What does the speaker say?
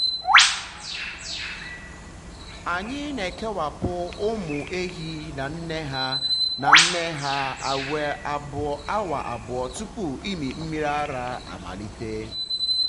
anyị na-ekewapụ ụmụ um ehi na nne ha na nne ha awa abụọ tupu ịmị mmiri ara amalite.